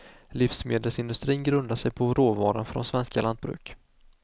Livsmedelsindustrin grundar sig på råvara från svenska lantbruk.